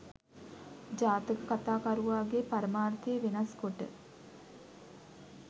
ජාතක කතා කරුවාගේ පරමාර්ථය වෙනස්කොට